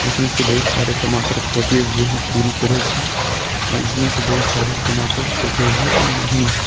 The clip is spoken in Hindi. इनमें से बहुत सारे टमाटर पके हुए है पुरी तरह से इसमें से बहुत सारे टमाटर पके हुआ नहीं हैं।